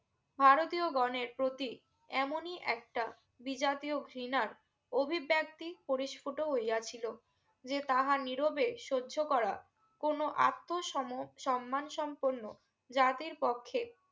ভারতীয় গনের প্রতি এমনই একটা বিজাতীয় ঘৃনার অভিব্যক্তি পরস্ফুতো হইয়াছিলো যে তারা নীরবে সয্য করা কোনো আতো সমো সম্মান সম্পূর্ণ জাতীর পক্ষে